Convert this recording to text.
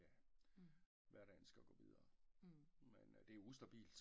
Ja hverdagen skal jo gå videre men det er ustabilt